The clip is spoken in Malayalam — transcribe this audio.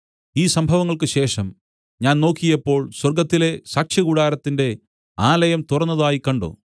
ഈ സംഭവങ്ങൾക്ക് ശേഷം ഞാൻ നോക്കിയപ്പോൾ സ്വർഗ്ഗത്തിലെ സാക്ഷ്യകൂടാരത്തിന്റെ ആലയം തുറന്നതായി കണ്ട്